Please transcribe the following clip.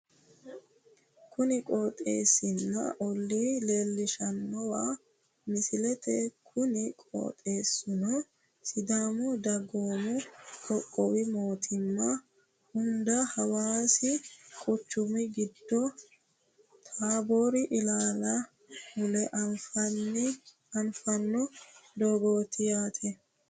Kuni qooxeessanna olla leellishshawo misileeti kuni qooxeessuno sidaamu dagoomu qoqqowu mootimma hunda hawaasi quchumi. giddo taaboori ilaali mule afantanno doogooti yaate